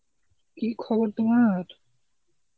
কী খবর তোমার?